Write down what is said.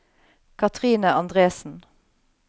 Katrine Andresen